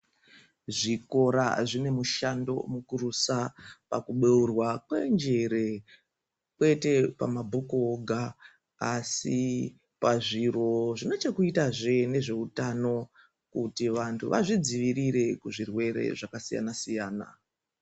Zvikora zvine mushando mukurusa pakuberwa penjere kwete pama bhuku oga asi pazviro zvinechekuitazve nezveutano kuti vantu vazvodzirire kuzvirwere zvakasiyana siyana .